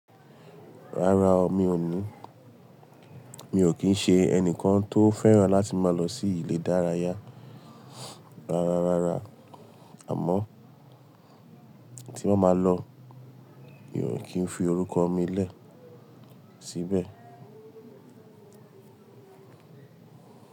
Rárá o, mi ò ní, mi ò kí ń ṣe ẹnìkan tó fẹ́ràn láti máa lọ sí ilé ìdárayá. Rárá, rárá àmọ́ tí máa ma lọ mi ò kí ń fi orúkọ mi lẹ́ síbẹ̀